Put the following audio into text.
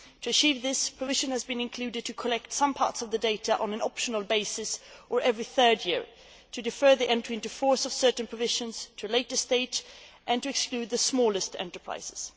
To achieve this, permission has been included to collect some parts of the data on an optional basis or every third year, to defer the entry into force of certain provisions to a later stage, and to exclude the smallest enterprises.